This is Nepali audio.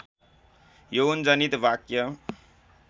यौनजनित वाक्य